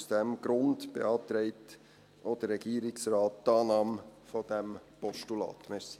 Aus diesem Grund beantragt auch der Regierungsrat die Annahme dieses Postulats.